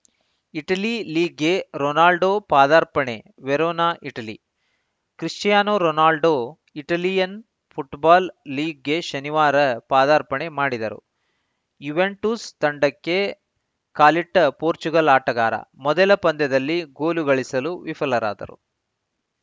Italy ಲೀಗ್‌ಗೆ Ronaldo ಪಾದಾರ್ಪಣೆ Verona Italy Cristiano Ronaldo Italian football ಲೀಗ್‌ಗೆ ಶನಿವಾರ ಪಾದಾರ್ಪಣೆ ಮಾಡಿದರು ಯುವೆಂಟುಸ್‌ ತಂಡಕ್ಕೆ ಕಾಲಿಟ್ಟಪೋರ್ಚುಗಲ್‌ ಆಟಗಾರ ಮೊದಲ ಪಂದ್ಯದಲ್ಲಿ ಗೋಲು ಗಳಿಸಲು ವಿಫಲರಾದರು